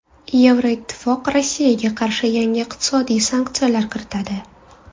Yevroittifoq Rossiyaga qarshi yangi iqtisodiy sanksiyalar kiritadi.